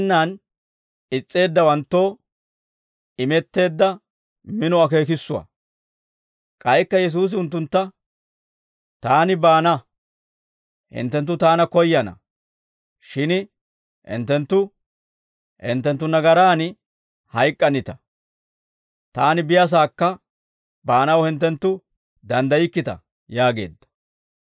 K'aykka Yesuusi unttuntta, «Taani baana hinttenttu Taana koyyana; shin hinttenttu, hinttenttu nagaraan hayk'k'anita. Taani biyaasaakka baanaw hinttenttu danddaykkita» yaageedda.